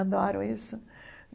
Adoro isso.